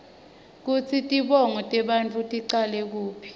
kutsi tibonao tebantfu ticala kuphi